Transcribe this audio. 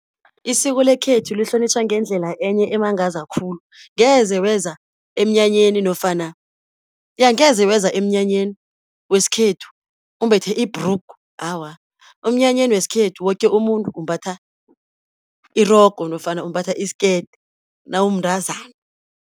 Isiko lekhethu lihlonitjhwa ngendlela enye emangaza khulu, angeze weza emnyanyeni wesikhethu umbethe ibhrugu awa, emnyanyeni wesikhethu woke umuntu umbatha irogo, nofana umbatha isikete nawumntazana.